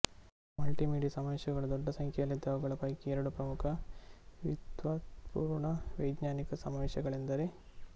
multimedia ಸಮಾವೇಶಗಳು ದೊಡ್ಡ ಸಂಖ್ಯೆಯಲ್ಲಿದ್ದು ಅವುಗಳ ಪೈಕಿ ಎರಡು ಪ್ರಮುಖ ವಿದ್ವತ್ಪೂರ್ಣ ವೈಜ್ಞಾನಿಕ ಸಮಾವೇಶಗಳೆಂದರೆ